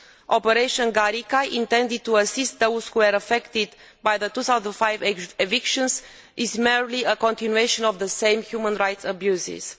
Operation Garikai intended to assist those who were affected by the 2005 evictions is merely a continuation of the same human rights abuses.